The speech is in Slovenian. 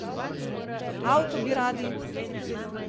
Avto bi radi?